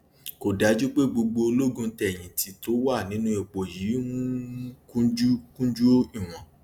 kò dájú pé gbogbo ológun tẹyìn tì tó wà nínú ipò yìí um kúnjú kúnjú ìwọn